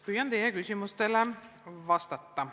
Püüan teie küsimustele vastata.